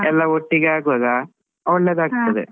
ಎಲ್ಲ ಒಟ್ಟಿಗೆ ಆಗುವಾಗ ಒಳ್ಳೇದಾಗ್ತದೆ.